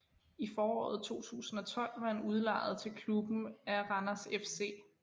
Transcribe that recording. I foråret 2012 var han udlejet til klubben af Randers FC